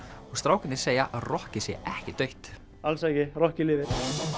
og strákarnir segja að rokkið sé ekki dautt alls ekki rokkið lifir